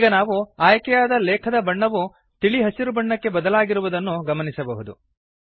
ಈಗ ನಾವು ಆಯ್ಕೆಯಾದ ಲೇಖದ ಬಣ್ಣವು ತಿಳಿ ಹಸಿರು ಬಣ್ಣಕ್ಕೆ ಬದಲಾಗಿರುವುದನ್ನು ಗಮನಿಸಬಹುದು